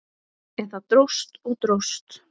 En það dróst og dróst.